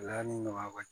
nɔgɔya ka